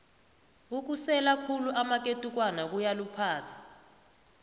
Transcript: ukusela khulu amaketukwana kuyaluphaza